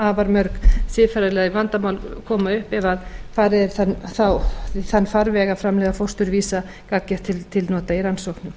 afar mörg siðferðileg vandamál koma upp ef farið er í þann farveg að framleiða fósturvísa gagngert til nota í rannsóknum